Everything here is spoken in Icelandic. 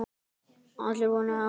Allir voru á nálum.